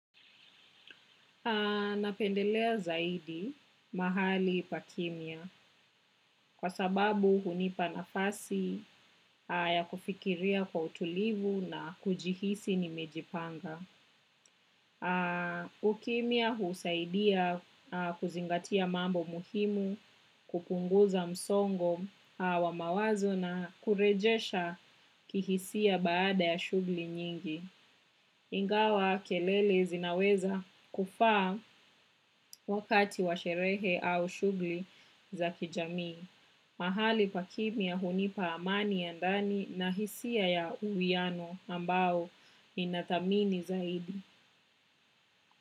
Napendelea zaidi mahali pa kimya kwa sababu hunipa nafasi ya kufikiria kwa utulivu na kujihisi nimejipanga. Ukimya husaidia kuzingatia mambo muhimu, kupunguza msongo wa mawazo na kurejesha kihisia baada ya shughuli nyingi. Ingawa kelele zinaweza kufaa wakati wa sherehe au shughuli za kijamii. Mahali pakimya hunipa amani ya ndani na hisia ya uwiano ambao ninathamini zaidi.